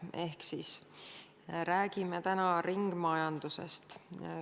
Täna räägime ringmajandusest.